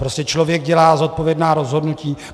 Prostě člověk dělá zodpovědná rozhodnutí.